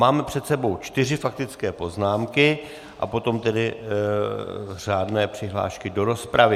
Máme před sebou čtyři faktické poznámky a potom tedy řádné přihlášky do rozpravy.